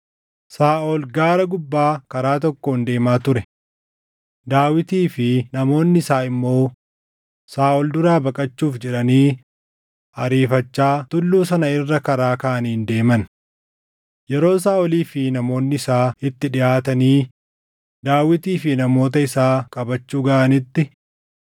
Saaʼol gaara gubbaa karaa tokkoon deemaa ture; Daawitii fi namoonni isaa immoo Saaʼol duraa baqachuuf jedhanii ariifachaa tulluu sana irra karaa kaaniin deeman. Yeroo Saaʼolii fi namoonni isaa itti dhiʼaatanii Daawitii fi namoota isaa qabachuu gaʼanitti,